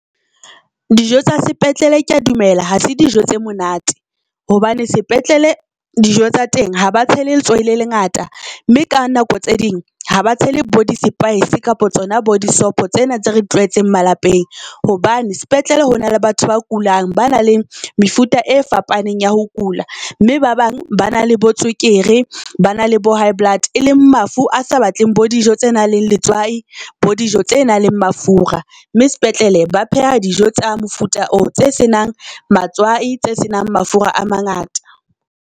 Dijo tsa sepetlele kea dumela, ha se dijo tse monate hobane sepetlele dijo tsa teng ha ba tshele letswai le lengata, mme ka nako tse ding ha ba tshele bo disepaese kapa tsona bo disopho tsena tse re tlwaetseng malapeng. Hobane sepetlele ho na le batho ba kulang ba na le mefuta e fapaneng ya ho kula, mme ba bang ba na le bo tswekere, ba na le bo high blood e leng mafu a sa batleng bo dijo tse nang le letswai bo dijo tse nang le mafura. Mme sepetlele ba pheha dijo tsa mofuta oo tse senang matswai tse senang mafura a mangata.